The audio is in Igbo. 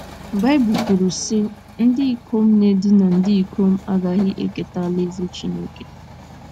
Baịbụl kwuru, sị :Ndị ikom na - edina ndị ikom agaghị eketa alaeze Chineke.